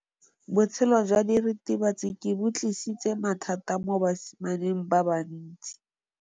Botshelo jwa diritibatsi ke bo tlisitse mathata mo basimaneng ba bantsi.